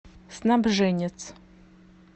снабженец